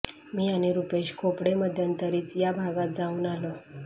मी आणि रुपेश खोपडे मध्यंतरीच या भागात जाऊन आलो